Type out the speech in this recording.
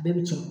Bɛɛ bi cɛn